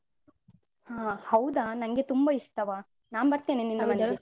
ಹಾ ಹೌದಾ? ನನ್ಗೆ ತುಂಬಾ ಇಷ್ಟವ. ನಾನ್